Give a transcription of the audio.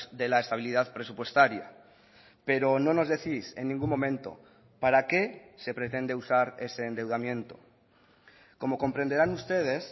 de la estabilidad presupuestaria pero no nos decís en ningún momento para qué se pretende usar ese endeudamiento como comprenderán ustedes